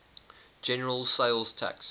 general sales tax